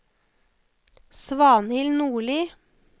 Svanhild Nordli